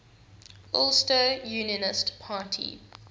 ulster unionist party